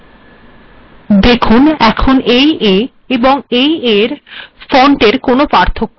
দেখুন এখন এই ফন্ট এবং এই ফন্টের মধ্যে কোনো পার্থক্য নেই